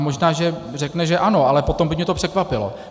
A možná že řekne, že ano, ale potom by mě to překvapilo.